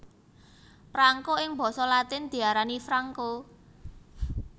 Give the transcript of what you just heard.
Prangko ing basa latin diarani franco